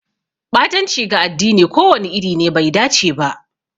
Ɓatanci ga addini ko wani iri ne bai dace ba.